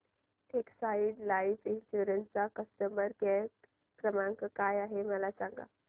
Exide life insurance चा customer care क्रमांक काय आहे मला सांगा